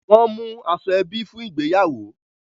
Won mú aṣọ ebi fún ìgbéyàwó